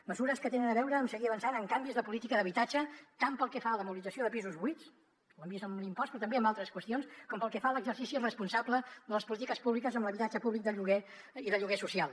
mesures que tenen a veure amb seguir avançant en canvis de política d’habitatge tant pel que fa a la mobilització de pisos buits ho hem vist amb l’impost però també amb altres qüestions com pel que fa a l’exercici responsable de les polítiques públiques amb l’habitatge públic de lloguer i de lloguer social